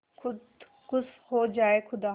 खुद खुश हो जाए खुदा